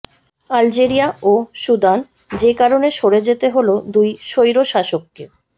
Algeria ও Sudan যে কারণে সরে যেতে হলো দুই স্বৈরশাসককে